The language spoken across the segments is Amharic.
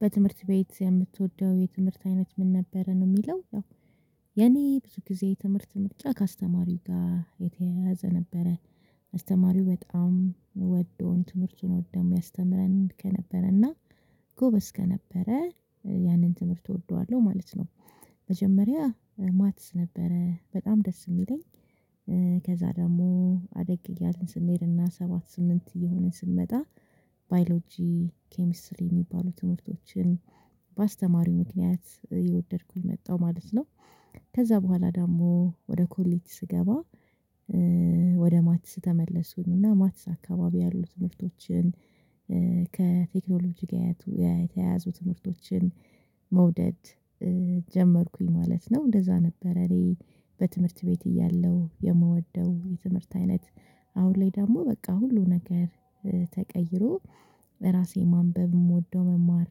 በትምህርት ቤት የምትወደው የትምህርት አይነት ምን ነበረ ነው የሚለው? ያው የኔ ብዙ ጊዜ የትምህርት ምርጫ አስተማሪው ጋር የተያያዘ ነበረ አስተማሪው በጣም ወዶን ትምህርቱን ወዶሚያስተምረን ከነበረና ጎበዝ ከነበረ ያንን ትምህርት እወደዋለሁ ማለት ነው። መጀመሪያ ማትስ ነበረ በጣም ደስ የሚለኝ። ከዛ ደግሞ አደግ እያልን ስንሄድና ሰባት ስምንት እየሆንን ስንመጣ ባዮሎጂ ኬሚስትሪ የሚባሉ ትምህርቶችን በአስተማሪው ምክንያት እወደድኩኝ መጣሁ ማለት ነው። ከዛ በኋላ ደሞ ወደ ኮሌጅ ስገባ ወደ ማትስ ተመለስኩኝ እና ማትስ አካባቢ ያሉትን ትምህርቶችን ከቴክኖሎጂ ጋር የተያያዙ ትምህርቶችን መውደድ ጀመርኩኝ ማለት ነው። እንደዛ ነበረ እኔ በትምህርት ቤት እያለሁ የምወደው የትምህርት አይነት አሁን ላይ ደግሞ በቃ ሁሉ ነገር ተቀይሮ ራሴ ማንበብ የምወደው መማር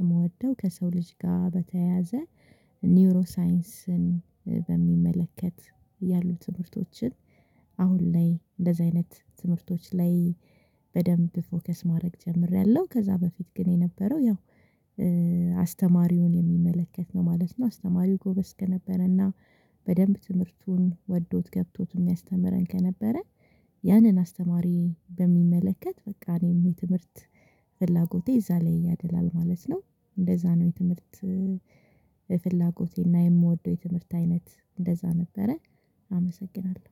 የምወደው ከሰው ልጅ ጋር በተያያዘ ኒውሮ ሳይንስን በሚመለከት ያሉ ትምህርቶችን አሁን ላይ እንደዚህ አይነት ትምህርቶች ላይ በደንብ ፎከስ ማድረግ ጀምሬያለሁ። ከዛ በፊት ግን የነበረው ያው አስተማሪውን የሚመለከት ነው ማለት ነው። አስተማሪው ጎበዝ ከነበረና በደንብ ትምህርቱን ወዶት ገብቶት የሚያስተምረን ከነበረ ያንን አስተማሪ በሚመለከት በቃ እኔም የትምህርት ፍላጎቴ እዛ ላይ ያደላል ማለት ነው። እንደዛ ነው የትምህርት ፍላጎቴና የምወደው የትምህርት አይነት እንደዛ ነበረ። አመሰግናለሁ